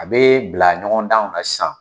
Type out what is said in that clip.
A be bila ɲɔgɔn danw na sisan.